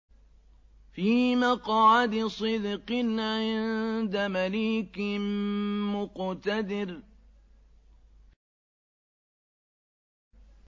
فِي مَقْعَدِ صِدْقٍ عِندَ مَلِيكٍ مُّقْتَدِرٍ